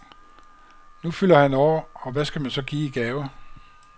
Nu fylder han år, og hvad skal man så give i gave?